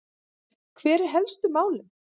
Hver eru helstu málin?